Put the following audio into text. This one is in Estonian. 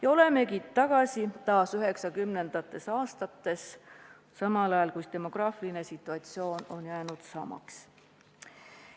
Ja olemegi tagasi taas 1990. aastates, samal ajal kui demograafiline situatsioon on jäänud samaks.